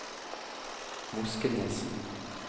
Moskenes